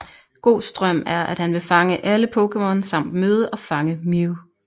Gohs drøm er at han vil fange alle Pokémon samt møde og fange Mew